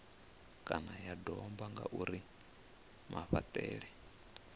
kana ya domba ngauri mafhaṱele